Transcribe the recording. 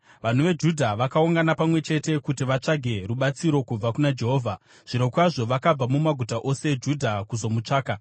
Vanhu veJudha vakaungana pamwe chete kuti vatsvage rubatsiro kubva kuna Jehovha. Zvirokwazvo, vakabva mumaguta ose eJudha kuzomutsvaka.